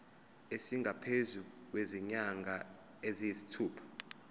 esingaphezu kwezinyanga eziyisithupha